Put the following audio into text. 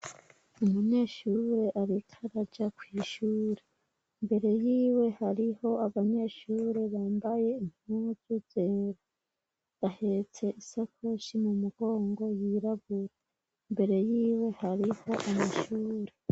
Umunyeshure ariko araja kw'ishure imbere y'iwe hariho abanyeshure bambaye impuzu zera. Ahetse isakoshi mu mugongo yirabura. Imbere y'iwe hariho amashuri